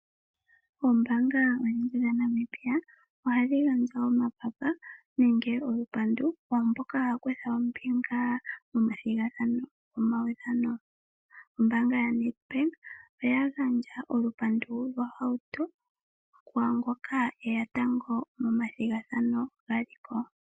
Oombaanga dha Namibia ohadhi gandja omapapa nenge olupandu kwaamboka haa kutha ombinga mo mathigathano nomawudhano. Ombaanga ya Namibia oya gandja olupandu kwaa ngoka eya tango mo mathigathano gaziko.